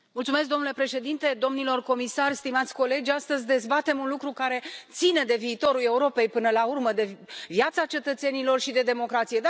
Domnule președinte, domnilor comisari, stimați colegi, astăzi dezbatem un lucru care ține de viitorul Europei, până la urmă, de viața cetățenilor și de democrație.